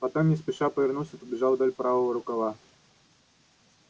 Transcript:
потом не спеша повернулся и побежал вдоль правого рукава